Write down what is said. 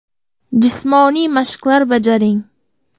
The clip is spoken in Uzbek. Jismoniy mashqlar bajaring.